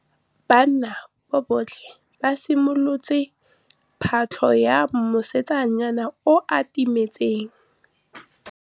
Banna botlhê ba simolotse patlô ya mosetsana yo o timetseng.